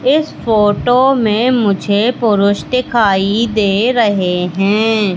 इस फोटो मे मुझे पुरुष दिखाई दे रहे है।